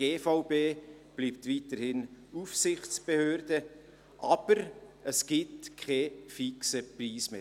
Die Gebäudeversicherung Bern (GVB) bleibt weiterhin Aufsichtsbehörde, es gibt jedoch keinen fixen Preis mehr.